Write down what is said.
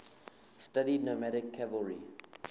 studied nomadic cavalry